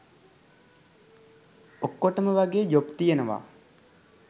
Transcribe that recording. ඔක්කොටම වගේ ජොබ් තියනවා